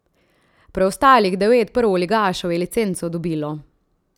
Preostalih devet prvoligašev je licenco dobilo.